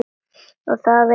Og það veit hann.